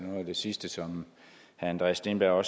det sidste som herre andreas steenberg